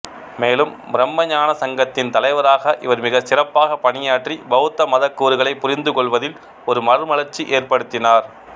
மேலும் பிரும்மஞான சங்கத்தின் தலைவராக இவர் மிக சிறப்பாக பணியாற்றி பௌத்த மத கூறுகளை புரிந்துகொள்வதில் ஒரு மறுமலர்ச்சி ஏற்படுத்தினார்